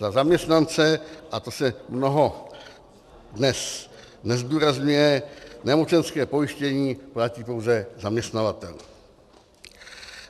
Za zaměstnance, a to se mnoho dnes nezdůrazňuje, nemocenské pojištění platí pouze zaměstnavatel.